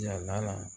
Yala